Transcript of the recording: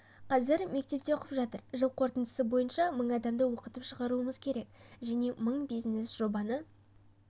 қазір мектепте оқып жатыр жыл қорытындысы бойынша мың адамды оқытып шығаруымыз керек және мың бизнес-жобаны